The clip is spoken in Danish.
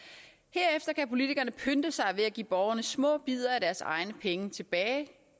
herefter kan politikerne pynte sig ved at give borgerne små bidder af deres egne penge tilbage